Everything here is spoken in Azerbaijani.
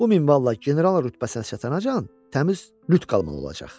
Bu minvalla general rütbəsi əlçatandan, təmiz lüt qalmalı olacaq.